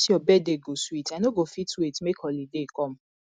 dis your birthday go sweet i no go fit wait make holiday come